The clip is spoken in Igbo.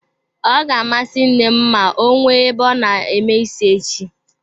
Ọ ga-amasị nne m ma ọ nwee ebe a na-eme ísí echi